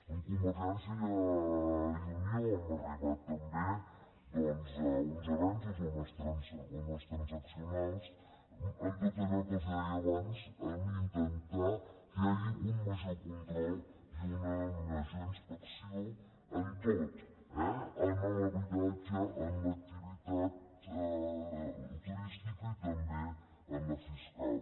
amb convergència i unió hem arribat també doncs a uns avenços a unes transaccionals en tot allò que els deia abans a intentar que hi hagi un major control i una major inspecció en tot eh en l’habitatge en l’ac·tivitat turística i també en la fiscal